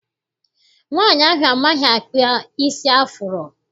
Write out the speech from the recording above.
Nwaanyi ahụ amaghị akpa isi afuro.